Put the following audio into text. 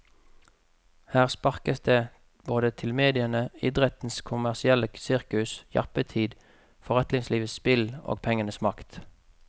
Her sparkes det både til mediene, idrettens kommersielle sirkus, jappetid, forretningslivets spill og pengenes makt.